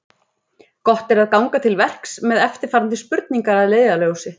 Gott er ganga til verks með eftirfarandi spurningar að leiðarljósi: